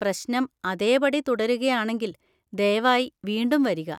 പ്രശ്നം അതേപടി തുടരുകയാണെങ്കിൽ ദയവായി വീണ്ടും വരിക.